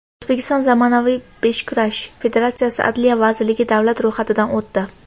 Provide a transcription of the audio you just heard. O‘zbekiston Zamonaviy beshkurash federatsiyasi Adliya vazirligida davlat ro‘yxatidan o‘tdi.